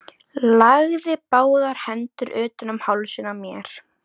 Lagði báðar hendur utan um hálsinn á mér.